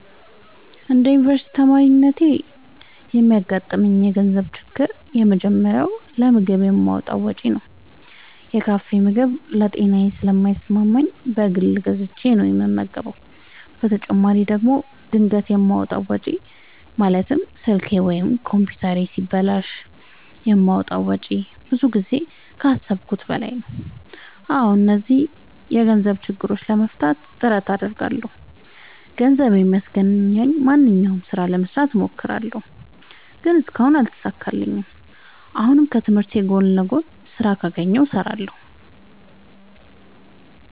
እንደ አንድ ዮኒቨርስቲ ተማሪነቴ የሚያጋጥሙኝ የገንዘብ ችግሮች የመጀመሪያው ለምግብ የማወጣው ወጪ ነው። የካፌ ምግብ ለጤናዬ ስለማይስማማኝ በግል ገዝቼ ነው የምበላው በተጨማሪ ደግሞ ድንገት የማወጣው ወጪ ማለትም ስልኬ ወይም ኮምፒውተሬ ሲበላሽ የማወጣው ወጪ ብዙ ጊዜ ከአሠብኩት በላይ ነው። አዎ እነዚህን የገንዘብ ችግሮች ለማሸነፍ ጥረት አደርጋለሁ። ገንዘብ የሚያስገኘኝን ማንኛውንም ስራ ለመስራት እሞክራለሁ። ግን እስካሁን አልተሳካልኝም። አሁንም ከትምህርቴ ጎን ለጎን ስራ ካገኘሁ እሠራለሁ።